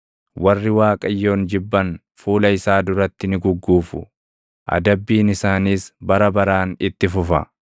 Warri Waaqayyoon jibban fuula isaa duratti ni gugguufu; adabbiin isaaniis bara baraan itti fufa.